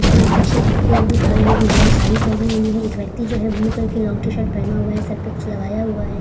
कुछ लोग पीछे की ओर भी खड़े है। एक महिला साड़ी पहनी हुई है। एक व्यक्ति जो है ब्लू कलर की लॉंग टी-शर्ट पहना हुआ है। सर पे कुछ लगाया हुआ है।